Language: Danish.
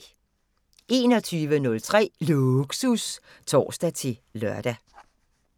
21:03: Lågsus (tor-lør)